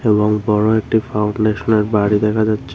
এবং বড় একটি ফাউন্ডেশনের বাড়ি দেখা যাচ্ছে।